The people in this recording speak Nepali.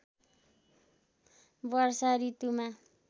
वर्षा ॠतुमा